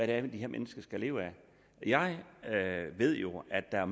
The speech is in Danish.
er de her mennesker skal leve af jeg ved jo at der er